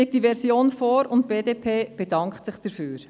Diese Version liegt jetzt vor, und die BDP bedankt sich dafür.